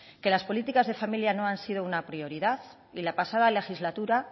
que las políticas de familia no han sido una prioridad y la pasada legislatura